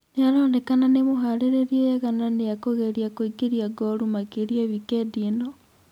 Nĩaronekena nĩmũharĩrĩrie wega na nĩakũgeria kuingĩria ngolu makĩria wikendi ĩno